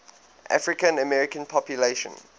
african american population